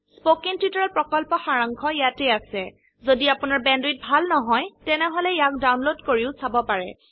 spoken tutorial প্ৰকল্পৰ সাৰাংশ ইয়াত আছে যদি আপোনাৰ বেণ্ডৱিডথ ভাল নহয় তেনেহলে ইয়াক ডাউনলোড কৰি চাব পাৰে